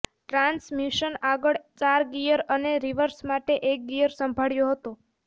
transmission આગળ ચાર gear અને રિવર્સ માટે એક ગિયર સંભાળ્યો હતો